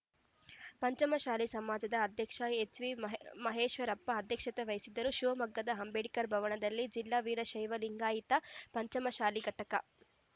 ಪಂಚಮಶಾಲೆ ಸಮಾಜದ ಅಧ್ಯಕ್ಷ ಎಚ್‌ವಿ ಮಹೇ ಮಹೇಶ್ವರಪ್ಪ ಅಧ್ಯಕ್ಷತೆ ವಹಿಸಿದ್ದರು ಶಿವಮೊಗ್ಗದ ಅಂಬೇಡ್ಕರ್‌ ಭವನದಲ್ಲಿ ಜಿಲ್ಲಾ ವೀರಶೈವ ಲಿಂಗಾಯತ ಪಂಚಮಸಾಲಿ ಘಟಕ